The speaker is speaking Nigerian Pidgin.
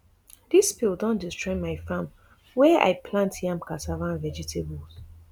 dis spill don destroy my farm wia i plant yam cassava and vegetables